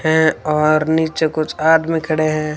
हैं और नीचे कुछ आदमी खड़े हैं।